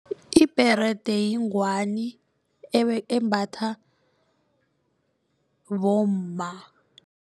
Ibherede yingwani embatha bomma.